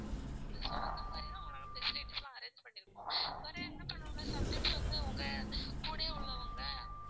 உங்களோட facilities எல்லாம் arrange பண்ணி வைப்போம். வேற என்ன பண்ணுவாங்க some times வந்து உங்க கூடயே உள்ளவங்க